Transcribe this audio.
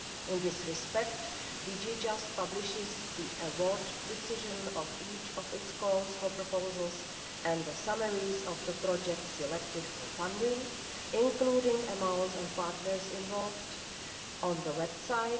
In this respect, DG Justice publishes the award decision of each of its calls for proposals and the summaries of the projects selected for funding, including amounts and partners involved, on the website.